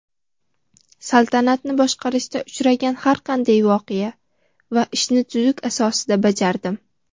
Saltanatni boshqarishda uchragan har qanday voqea va ishni tuzuk asosida bajardim.